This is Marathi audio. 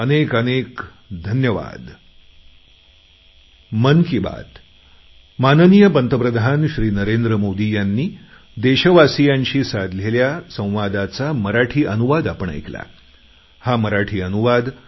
अनेक अनेक धन्यवाद